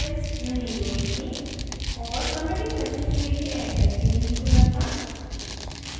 और committing message के लिए editor भी नहीं खुल था